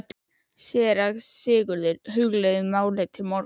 SÉRA SIGURÐUR: Hugleiðum málið til morguns.